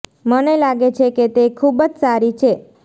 મને લાગે છે કે તે ખૂબ જ સારી છે